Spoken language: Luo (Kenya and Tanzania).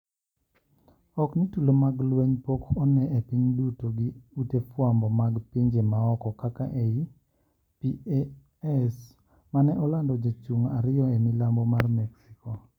Ok ni tulo mag lweny pok one epiny duto gi ute fwambo mag pinje maoko kaka Ei PA-S mane olando ni jochung ariyo emilambo mar mexico